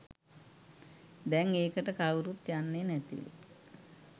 දැන් ඒකට කවුරුත් යන්නේ නැතිලු.